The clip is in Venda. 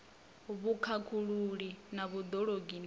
vhukhakhululi na vhud ologi na